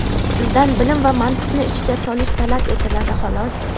Sizdan bilim va mantiqni ishga solish talab etiladi, xolos.